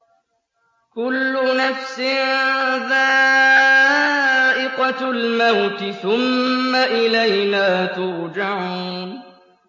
كُلُّ نَفْسٍ ذَائِقَةُ الْمَوْتِ ۖ ثُمَّ إِلَيْنَا تُرْجَعُونَ